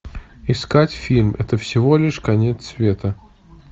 искать фильм это всего лишь конец света